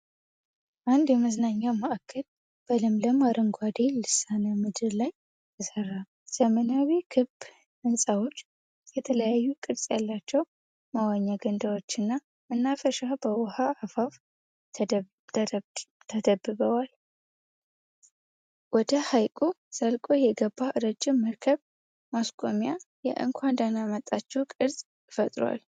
አንድ የመዝናኛ ማዕከል በለምለም አረንጓዴ ልሳነ ምድር ላይ ተሰራ። ዘመናዊ ክብ ሕንፃዎች፣ የተለያዩ ቅርጽ ያላቸው መዋኛ ገንዳዎችና መናፈሻዎች በውሃው አፋፍ ተከብበዋል። ወደ ሐይቁ ዘልቆ የገባ ረጅም መርከብ ማስቆሚያ የእንኳን ደህና መጣችሁ ቅርጽ ፈጥሯል።